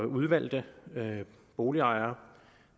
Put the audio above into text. udvalgte boligejere